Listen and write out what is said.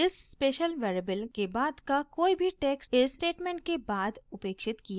इस special variable के बाद का कोई भी टेक्स्ट इस स्टेटमेंट के बाद उपेक्षित किया जाता है